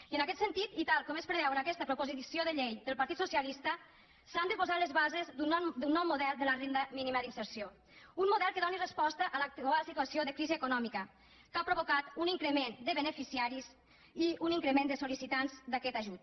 i en aquest sentit i tal com es preveu en aquesta proposició de llei del partit socialista s’han de posar les bases d’un nou model de la renda mínima d’inserció un model que doni resposta a l’actual situació de crisi econòmica que ha provocat un increment de beneficiaris i un increment de sol·licitants d’aquest ajut